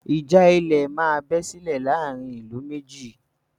Ìjà ilẹ̀ má bẹ́ sílè láàárín ìlú méjì.